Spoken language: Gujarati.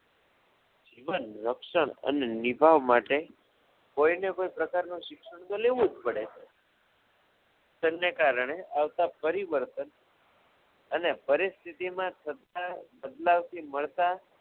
સીમા રક્ષણ અને નિભાવ માટે કોઈને કોઈ પ્રકારનું શિક્ષણ તો લેવું જ પડે છે પર્યાવરણને કારણે આવતા પરિબળને અને પરિસ્થિતિમાં થતા બદલાવથી મળતા